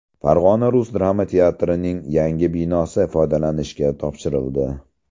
Farg‘ona rus drama teatrining yangi binosi foydalanishga topshirildi.